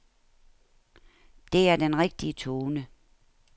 Det er den rigtige tone.